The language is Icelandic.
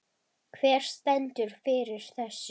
Hver stendur fyrir þessu?